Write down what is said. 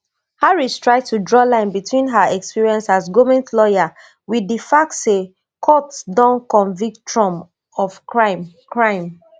harristry to draw line between her experience as goment lawyer wit di fact say court don convict trump of crime crime